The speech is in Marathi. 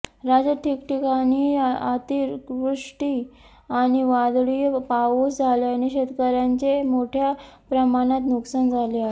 राज्यात ठिकठिकाणी अतिवृष्टी आणि वादळी पाऊस झाल्याने शेतकऱ्यांचे मोठ्या प्रमाणात नुकसान झाले आहे